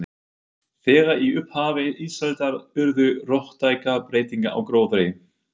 Þegar í upphafi ísaldar urðu róttækar breytingar á gróðri.